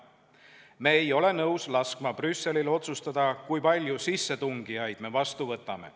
Me ei ole nõus laskma Brüsselil otsustada, kui palju sissetungijaid me vastu võtame.